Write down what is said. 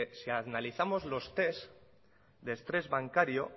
si analizamos los test de estrés bancario